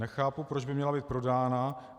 Nechápu, proč by měla být prodána.